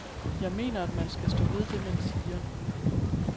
Jeg mener, at man skal stå ved det, man siger.